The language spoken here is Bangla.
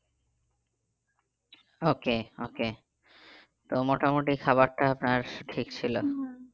Okay okay তো মোটামুটি খাবারটা তার ঠিক